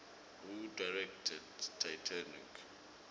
who directed titanic